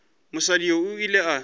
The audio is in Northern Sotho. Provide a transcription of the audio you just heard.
mosadi yoo o ile a